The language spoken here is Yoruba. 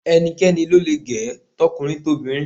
Ẹnikẹ́ni lo le gẹ̀ ẹ́, tọkùnrin tobìnrin.